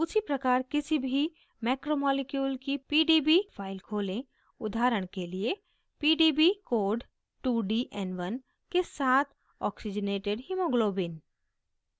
उसीप्रकार किसी भी मैक्रोमॉलिक्यूल की pdb file खोलें; उदाहरण के लिए pdb code 2dn1 के साथ oxygenated hemoglobin